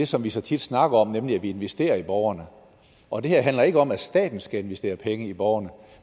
som vi så tit snakker om nemlig at investere i borgerne og det her handler ikke om at staten skal investere penge i borgerne